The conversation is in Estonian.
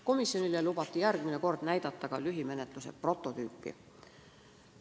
Komisjonile lubati järgmine kord näidata ka lühimenetluse prototüüpi.